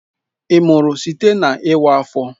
Ị mụrụ site na iwa afọ?